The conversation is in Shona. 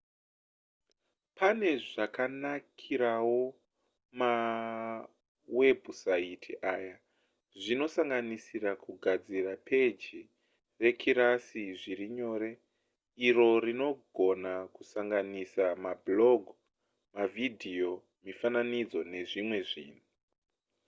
pane zvakanakirawo mawebhusaiti aya zvinosanganisira kugadzira peji rekirasi zviri nyore iro rinogona kusanganisira mablog mavhidhiyo mifananidzo nezvimwe zvinhu